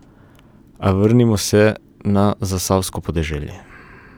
A vrnimo se na zasavsko podeželje.